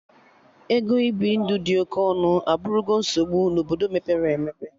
Ego ibi ndụ ịdị oke ọnụ abụrụgo nsogbu na Obodo mepere emepe